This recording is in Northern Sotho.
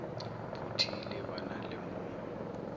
phuthile ba na le mo